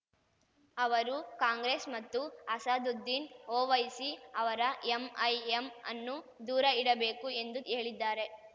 ಅವರು ಕಾಂಗ್ರೆಸ್‌ ಮತ್ತು ಅಸಾದುದ್ದೀನ್‌ ಒವೈಸಿ ಅವರ ಎಂಐಎಂ ಅನ್ನು ದೂರ ಇಡಬೇಕು ಎಂದು ಹೇಳಿದ್ದಾರೆ